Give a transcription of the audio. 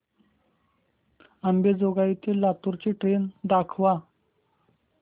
अंबेजोगाई ते लातूर ची ट्रेन दाखवा